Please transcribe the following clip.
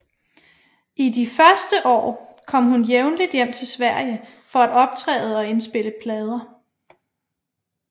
I de første år kom hun jævnligt hjem til Sverige for at optræde og indspille plader